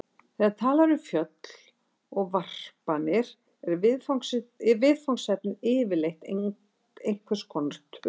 Þegar talað er um föll og varpanir er viðfangsefnið yfirleitt einhvers konar tölur.